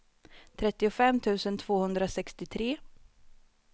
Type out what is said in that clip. trettiofem tusen tvåhundrasextiotre